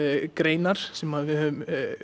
greinar sem að við höfum